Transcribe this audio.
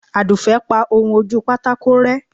aduke pa ohún ojú pàtàkó rẹ